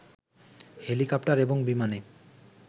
helicopter এবং বিমানে